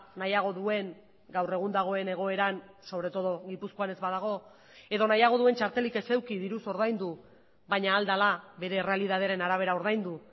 nahiago duen gaur egun dagoen egoeran sobre todo gipuzkoan ez badago edo nahiago duen txartelik ez eduki diruz ordaindu baina ahal dela bere errealitatearen arabera ordaindu